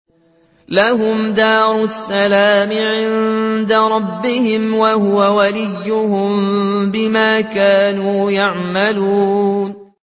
۞ لَهُمْ دَارُ السَّلَامِ عِندَ رَبِّهِمْ ۖ وَهُوَ وَلِيُّهُم بِمَا كَانُوا يَعْمَلُونَ